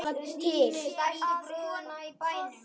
Ég hlakka bara til!